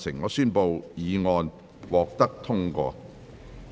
我宣布議案獲得通過。